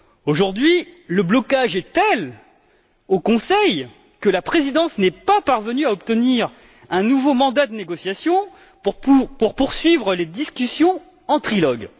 Aujourd'hui, le blocage au Conseil est tel que la présidence n'est pas parvenue à obtenir un nouveau mandat de négociation pour poursuivre les discussions en trilogue.